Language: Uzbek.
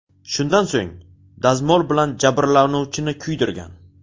Shundan so‘ng, dazmol bilan jabrlanuvchini kuydirgan.